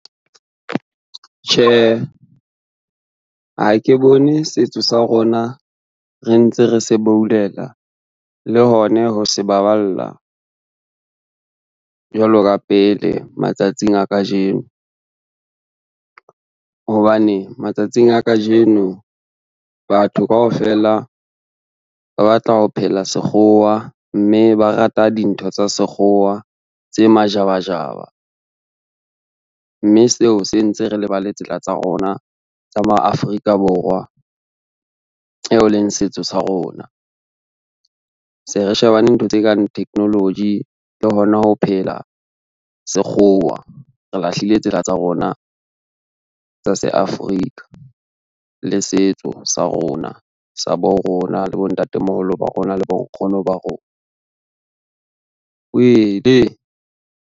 Tjhe, ha ke bone setso sa rona re ntse re se bouleka le hone ho se baballa, jwalo ka pele matsatsing a kajeno. Hobane matsatsing a kajeno batho kaofela ba batla ho phela sekgowa, mme ba rata dintho tsa sekgowa tse majabajaba, mme seo se ntse re lebale tsela tsa rona tsa ma Afrika Borwa, eo leng setso sa rona. Se re shebane ntho tse kang technology le hona ho phela sekgowa, re lahlile tsela tsa rona tsa se Africa le setso sa rona sa bo rona, le bontatemoholo ba rona le bonkgono ba rona. Uwele!